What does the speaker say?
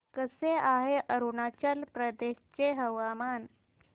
कसे आहे अरुणाचल प्रदेश चे हवामान